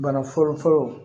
Bana fɔlɔfɔlɔ